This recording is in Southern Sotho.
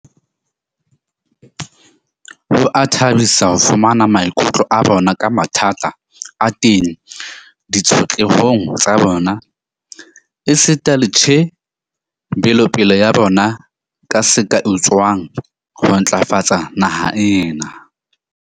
Ho a thabisa ho fumana maikutlo a bona ka mathata a teng ditshotlehong tsa bona, esita le tjhe belopeleng ya bona ka se ka etsuwang ho ntlafatsa naha ena.